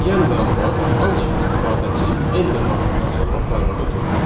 Yəni məlumat ancaq istifadəçi enter basandan sonra proqrama ötürülür.